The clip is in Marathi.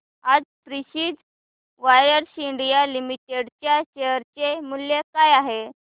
आज प्रिसीजन वायर्स इंडिया लिमिटेड च्या शेअर चे मूल्य काय आहे